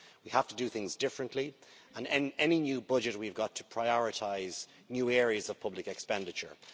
We have to do things differently, and in any new budget we have got to prioritise new areas of public expenditure.